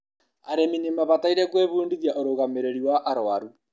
arĩmi nĩmabataire gũĩbudithia ũrũgamĩrĩri wa arũaru